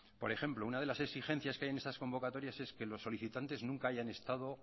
por ejemplo una de las exigencias que hay en estas convocatorias es que los solicitantes nunca hayan estado